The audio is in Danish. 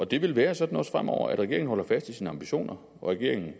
det vil være sådan også fremover at regeringen holder fast i sine ambitioner at regeringen